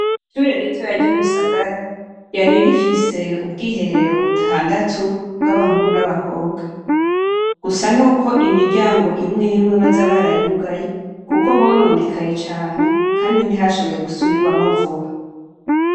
Ishure ritoya ry'Imusagara ryari rifise ubwiherero butandatu bw'abahungu n'abakobwa gusa n'uko imiryango imwimwe baza barayugaye kuko hononekaye cane Kandi ntihashoboye gusubirwamwo vuba.